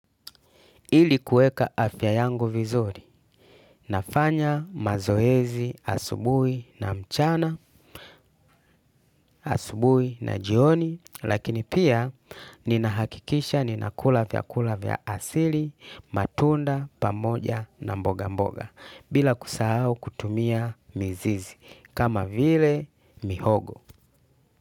Ili kuweka afya yangu vizuri, nafanya mazoezi asubuhi na mchana, asubuhi na jioni, lakini pia ninahakikisha ninakula vyakula vya asili, matunda pamoja na mboga mboga, bila kusahau kutumia mizizi, kama vile mihogo.